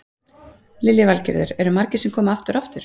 Lillý Valgerður: Eru margir sem koma aftur og aftur?